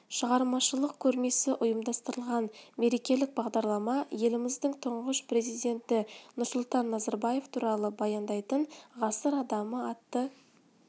шығармашылық көрмесі ұйымдастырылған мерекелік бағдарлама еліміздің тұңғыш президенті нұрсұлтан назарбаев туралы баяндайтын ғасыр адамы атты